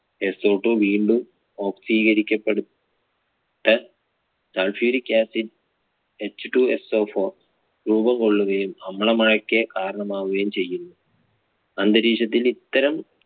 SOtwo വീണ്ടും ഓക്സീകരിക്കപ്പെട്ട് sulphuric acidHTWOSOfour രൂപം കൊള്ളുകയും അമ്ല മഴയ്ക്ക് കാരണമാകുകയും ചെയ്യുന്നു. അന്തരീക്ഷത്തിൽ ഇത്തരം